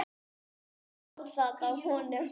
Hilmar sá það á honum.